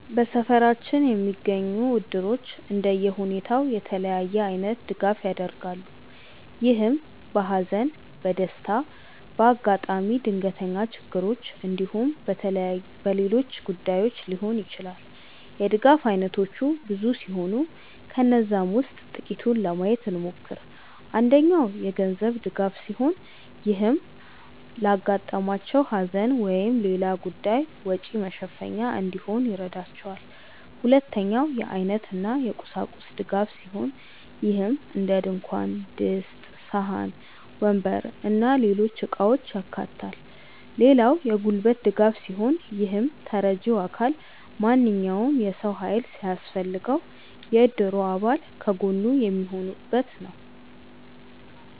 በሰፈራችን የሚገኙት እድሮች እንደየሁኔታው የተለያየ አይነት ድጋፍ ያደርጋሉ። ይህም በሃዘን፣ በደስታ፣ በአጋጣሚ ድንገተኛ ችግሮች እንዲሁም በሌሎች ጉዳዮች ሊሆን ይችላል። የድጋፍ አይነቶቹ ብዙ ሲሆኑ ከነዛም ውስጥ ጥቂቱን ለማየት እንሞክር። አንደኛው የገንዘብ ድጋፍ ሲሆን ይህም ለአጋጠማቸው ሃዘን ወይም ሌላ ጉዳይ ወጪ መሸፈኛ እንዲሆን ይረዳቸዋል። ሁለተኛው የአይነት እና የቁሳቁስ ድጋፍ ሲሆን ይህም እንደድንኳን ድስት፣ ሳህን፣ ወንበር እና ሌሎች እቃውችን ያካታል። ሌላው የጉልበት ድጋፍ ሲሆን ይህም ተረጂው አካል ማንኛውም የሰው ሃይል ሲያስፈልገው የእድሩ አባል ከጎኑ የሚሆኑበት ነው።